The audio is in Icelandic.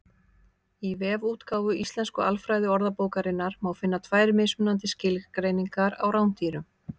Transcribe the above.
Í vefútgáfu Íslensku alfræðiorðabókarinnar má finna tvær mismunandi skilgreiningar á rándýrum.